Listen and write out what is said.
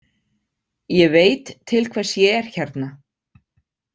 Ég veit til hvers ég er hérna.